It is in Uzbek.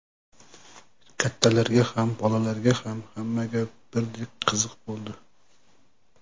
Kattalarga ham, bolalarga ham, hammaga birdek qiziq bo‘ldi.